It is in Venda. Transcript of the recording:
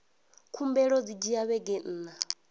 khumbelo dzi dzhia vhege nṋa